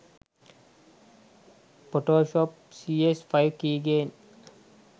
photoshop cs5 keygen